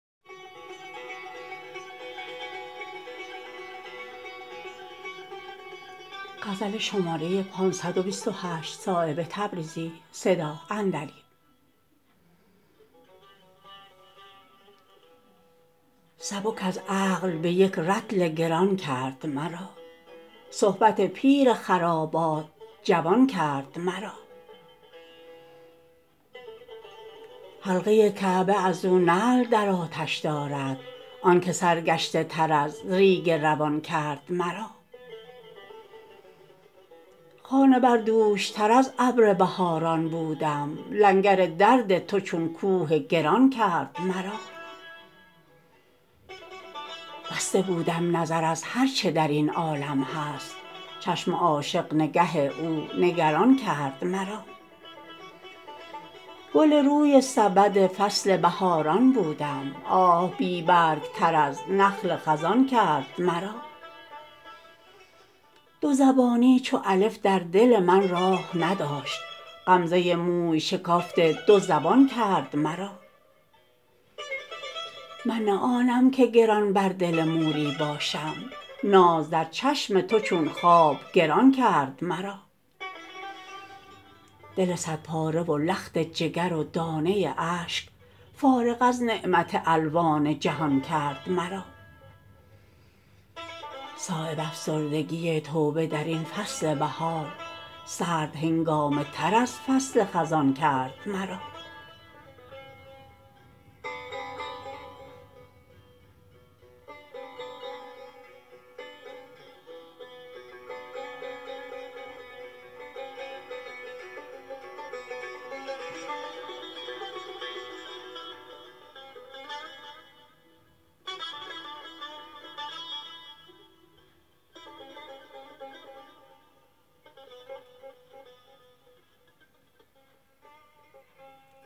سبک از عقل به یک رطل گران کرد مرا صحبت پیر خرابات جوان کرد مرا حلقه کعبه ازو نعل در آتش دارد آن که سرگشته تر از ریگ روان کرد مرا خانه بر دوش تر از ابر بهاران بودم لنگر درد تو چون کوه گران کرد مرا بسته بودم نظر از هر چه درین عالم هست چشم عاشق نگه او نگران کرد مرا گل روی سبد فصل بهاران بودم آه بی برگ تر از نخل خزان کرد مرا دو زبانی چو الف در دل من راه نداشت غمزه موی شکافت دو زبان کرد مرا من نه آنم که گران بر دل موری باشم ناز در چشم تو چون خواب گران کرد مرا دل صد پاره و لخت جگر و دانه اشک فارغ از نعمت الوان جهان کرد مرا صایب افسردگی توبه درین فصل بهار سرد هنگامه تر از فصل خزان کرد مرا